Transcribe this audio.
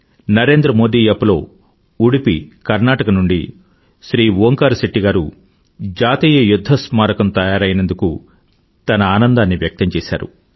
Narendra Modi app లో ఉడుపీ కర్నాటకా నుండి శ్రీ ఓంకార్ శెట్టి గారు జాతీయ యుధ్ధ స్మారకంNational వార్ మెమోరియల్ తయారైనందుకు తన ఆనందాన్ని వ్యక్తం చేసారు